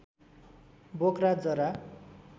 बोक्रा जरा